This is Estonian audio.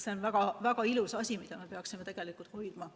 See on väga-väga ilus asi, mida me peaksime tingimata hoidma.